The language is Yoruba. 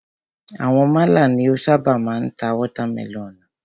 Àwọn málà ni o ṣábà máa ń ta watermẹlọ̀nùù.